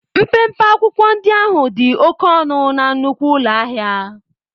Mpempe akwụkwọ ndị ahụ dị oke ọnụ na nnukwu ụlọ ahịa.